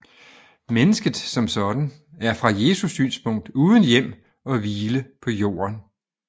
Mennesket som sådan er fra Jesu synspunkt uden hjem og hvile på jorden